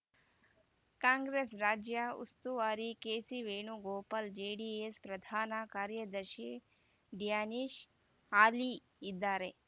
ಕಾಂಗ್ರೆಸ್ ರಾಜ್ಯ ಉಸ್ತುವಾರಿ ಕೆಸಿವೇಣುಗೋಪಾಲ್ ಜೆಡಿಎಸ್ ಪ್ರಧಾನ ಕಾರ್ಯದರ್ಶಿ ಡ್ಯಾನಿಶ್ ಆಲಿ ಇದ್ದಾರೆ